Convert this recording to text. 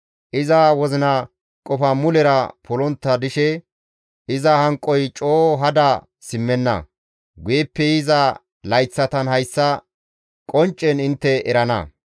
Iza wozina qofa mulera polontta dishe iza hanqoy coo hada simmenna; guyeppe yiza layththatan hayssa qonccen intte erana.